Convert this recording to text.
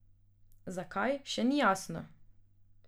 Zakaj, še ni jasno.